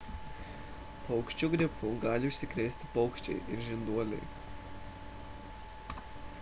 paukščių gripu gali užsikrėsti paukščiai ir žinduoliai